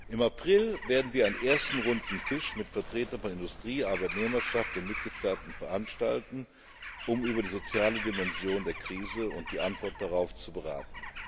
Im April werden wir einen ersten runden Tisch mit Vertretern von Industrie, Arbeitnehmerschaft und den Mitgliedstaaten veranstalten, um über die soziale Dimension der Krise und die Antwort darauf zu beraten.